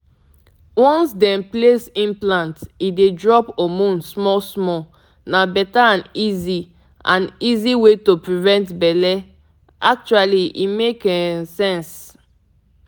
if you dey reason implant e dey drop hormone small-small steady so no need to dey remember every day. i mean actually e clean.